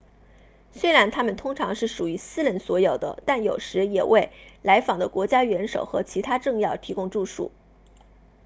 虽然它们通常是属于私人所有的但有时也为来访的国家元首和其他政要提供住宿